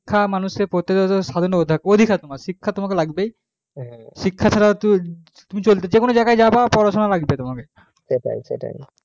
শিক্ষা মানুষ এর প্রত্যেক জনের স্বাধীনতা অধিকার শিক্ষা তোমাকে লাগবে শিক্ষা ছাড়া যেকোনো জায়গায় যাবার শিক্ষা লাগবে তোমাকে